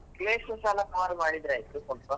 Place ಸ cover ಮಾಡಿದ್ರಾಯ್ತು ಸ್ವಲ್ಪ.